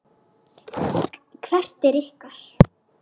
Hvert er ykkar?